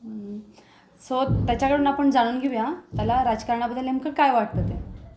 So त्याच्या कडन आपण जाणून घेऊया त्याला राजकारणा बद्दल नेमक काय वाटत ते.